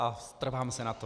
A trvám si na tom.